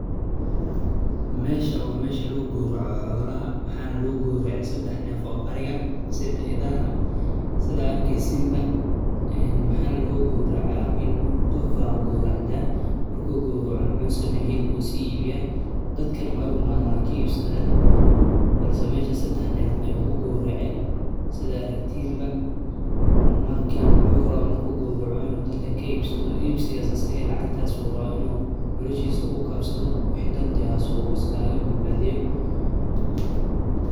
Meshaa wa meshi ku guurco holax maxalaga ku guurceyey saddex neef oo ariga sida idaaha, sidaa arkaysi mba, en maxaan lagugu guuraceyey wiil qof waa ugu guuracda ah. Markuu guurco muxuu sameeyey hilib kuu sii iibyay dadkaan way u umaadaan ka iibsataan balse meesha saddex neef ayuu ugu guuraceyey sidaa arkay Timba. Marka muxuu rawa markuu guurco in uu dadka ka iibsado iibsigaa saga lacagtaas waa inuu noloshaysa ku kaabsado. Wax xiddan taasoo u waskaaga badbaadiyo.